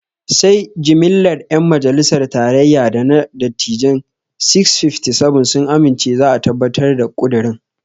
Sai jimlar 'yan majalisar tarayya da na dattijain 657 sun amince za a tabbatar da ƙudirin.